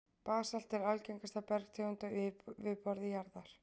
Basalt er algengasta bergtegund á yfirborði jarðar.